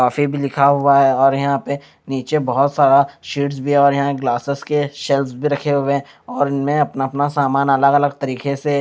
लिखा हुआ है और यहाँ पे निचे बहुत सारा शीट्स भी है और ग्लासेस की सेल्फ्ज भी रखे हुए हैं और इनमें अपना अपना सामान अलग अलग तरीकेसे से--